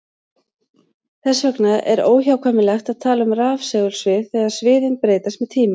Þess vegna er óhjákvæmilegt að tala um rafsegulsvið þegar sviðin breytast með tíma.